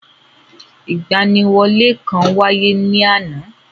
Ìgbaniwọlé kan-an wáyé ni àná.